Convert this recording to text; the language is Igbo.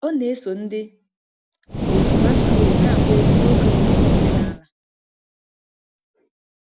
Ọ na-eso ndị otu masquerade na-agba egwu n'oge mmemme omenala.